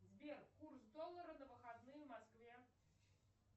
сбер курс доллара на выходные в москве